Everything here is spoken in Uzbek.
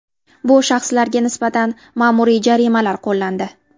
Bu shaxslarga nisbatan ma’muriy jarimalar qo‘llandi.